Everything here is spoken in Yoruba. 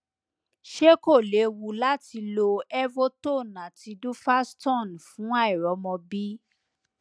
ṣé kò lewu lati lo evotone àti duphaston fun àìrọmọbi